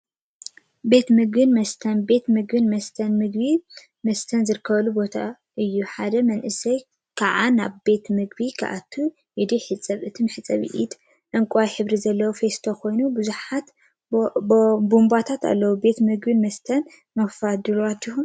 ቤት ምግቢን መስተን ቤት ምግቢን መስተን ምግቢን መስተን ዝርከበሉ ቦታ እዩ፡፡ ሓደ መንእሰይ ከዓ ናብ ቤት ምግቢ ክአቱ ኢዱ ይሕፀብ፡፡ እቲ መሕፀቢ ኢድ ዕንቋይ ሕብሪ ዘለዎ ፊስቶ ኮይኑ ቡዙሓት ቡንባታት አለውዎ፡፡ ቤት ምግቢን መስተን ንምክፋት ድልዋት ዲኩም?